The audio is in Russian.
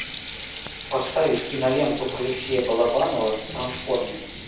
поставить киноленту алексея балабанова трансформер